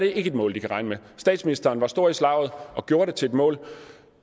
er et mål de kan regne med statsministeren var stor i slaget og gjorde det til et mål